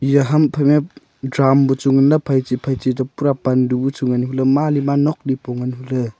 Eya ham phaima drum bu chu ngan le phai chi phai chi to pura pan du bu chu ngan hu le mali ma nok nipo ngan hu le.